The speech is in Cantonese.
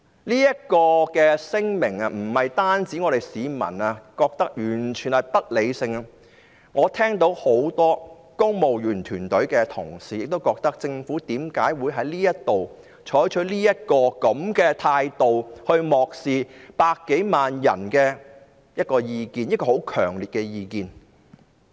這份聲明不僅市民覺得完全不合理，我亦聽到很多公務員團隊同事的意見，表示政府為何會採取這樣的態度，漠視百多萬人強烈的意見？